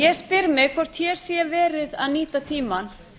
ég spyr mig hvort hér sé verið að nýta tímann